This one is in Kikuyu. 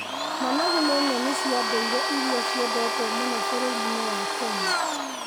Managu nĩ nyeni cia ndũire irĩa ciendetwo mũno bũrũri-inĩ wa Kenya.